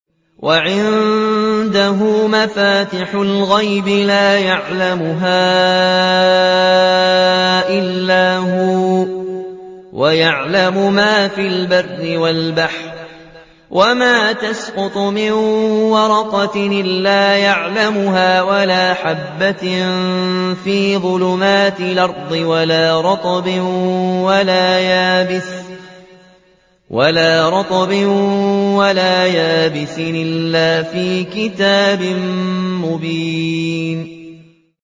۞ وَعِندَهُ مَفَاتِحُ الْغَيْبِ لَا يَعْلَمُهَا إِلَّا هُوَ ۚ وَيَعْلَمُ مَا فِي الْبَرِّ وَالْبَحْرِ ۚ وَمَا تَسْقُطُ مِن وَرَقَةٍ إِلَّا يَعْلَمُهَا وَلَا حَبَّةٍ فِي ظُلُمَاتِ الْأَرْضِ وَلَا رَطْبٍ وَلَا يَابِسٍ إِلَّا فِي كِتَابٍ مُّبِينٍ